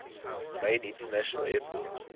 main international airport